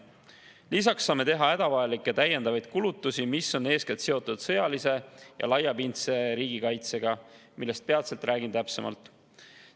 Lisaks saame teha hädavajalikke täiendavaid kulutusi, mis on eeskätt seotud sõjalise ja laiapindse riigikaitsega, millest peatselt räägin täpsemalt.